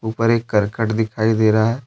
ऊपर एक करकट दिखाई दे रहा है।